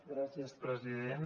gràcies president